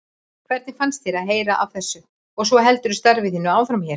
Hvernig fannst þér að heyra af þessu og svo heldurðu starfi þínu áfram hér?